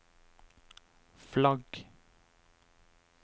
flagg